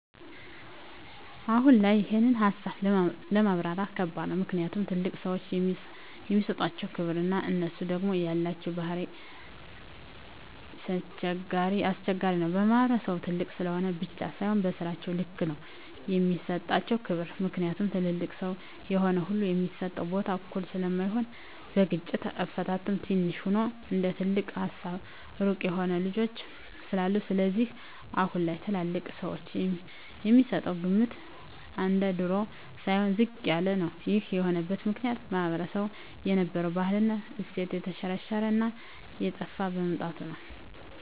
አሁን ላይ ይሄን ሀሳብ ለማብራራት ከባድ ነው ምክኒያቱም ትልልቅ ሰዎችን የሚሠጣቸው ክብር እና እነሡ ደግም የላቸው ባህሪ ኘስቸጋሪ ነው በማህበረሰቡም ትልቅ ስለሆኑ ብቻ ሳይሆ በስራቸው ልክ ነው የሚሰጣቸው ክብር ምክኒያቱም ትልልቅ ሰው የሆነ ሁሉ የሚሰጠው ቦታ እኩል ስለማይሆን በግጭት አፈታትም ትንሽ ሆኖም እንደትልቅ ሀሳባቸው ሩቅ የሆኑ ልጆች ስላሉ ስለዚህም አሁን ላይ ለትልልቅ ሰወች የሚሰጠው ግምት እንደድሮው ሳይሆን ዝቅ ያለ ነው ይሄም የሆነበት ምክኒያት ማህበረሰቡ የነበረው ባህል እና እሴት የተሽረሽረ እና እየጠፍ በመምጣቱ ነው